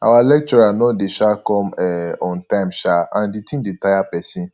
our lecturer no dey um come um on time um and the thing dey tire person